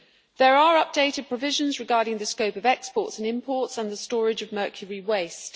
There are updated provisions regarding the scope of exports and imports and the storage of mercury waste.